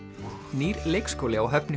nýr leikskóli á Höfn í